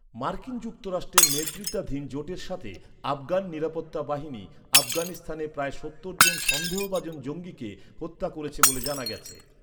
মার্কিন যুক্তরাষ্ট্রের নেতৃত্বাধীন জোটের সাথে আফগান নিরাপত্তা বাহিনী আফগানিস্তানে প্রায় সত্তর জন সন্দেহভাজন জঙ্গিকে হত্যা করেছে বলে জানা গেছে।